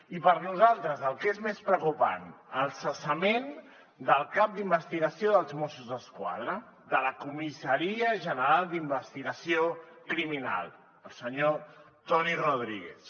i per nosaltres el que és més preocupant el cessament del cap d’investigació dels mossos d’esquadra de la comissaria general d’investigació criminal el senyor toni rodríguez